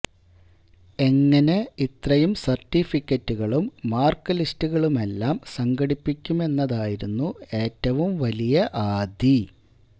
എങ്ങിനെ ഇത്രയും സര്ട്ടിഫിക്കറ്റുകളും മാര്ക്ക് ലിസ്റ്റുകളുമെല്ലാം സംഘടിപ്പിക്കുമെന്നതായിരുന്നു ഏറ്റവും വലിയ ആധി